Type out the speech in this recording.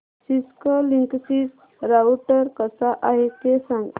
Cisco Linksys router कसा आहे ते सांग